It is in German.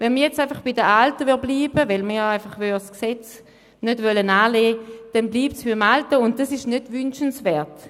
Blieben wir jetzt einfach bei den alten Bestimmungen, weil wir das Gesetz nicht annehmen wollen, dann bliebe es beim Alten, und das ist nicht wünschenswert.